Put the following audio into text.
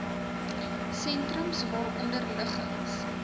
sentrums waaronder liggings